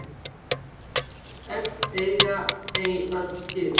Öll segl eiga ei öll skip.